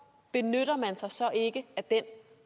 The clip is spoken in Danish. benytter man sig så ikke af den